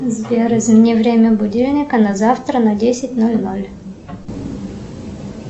сбер измени время будильника на завтра на десять ноль ноль